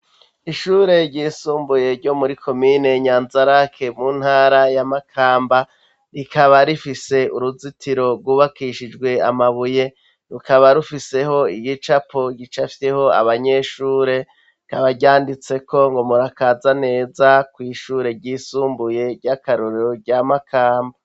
Ishure ryisumbuye, ryo muri komine Nyanzarake, mu ntara ya Makamba; rikaba rifise uruzitiro rwubakishijwe amabuye, rukaba rufiseho igicapo gicafyeho abanyeshure, rikaba ryanditseko ngo " Murakaza neza kw'ishure ryisumbuye ry'akarorero rya Makamba".